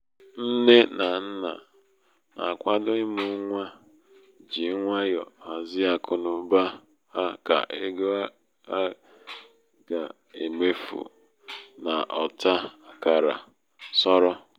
nné um na um nna na- akwado ịmụ nwa ji nwayọ hazie akụnaụba ha ka ego a ga-emefu n'ọta akara sọrọ.